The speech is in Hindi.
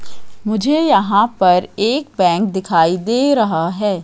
मुझे यहां पर एक बैंक दिखाई दे रहा है।